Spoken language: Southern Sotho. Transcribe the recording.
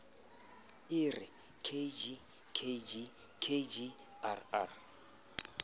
e re kg kg kgrr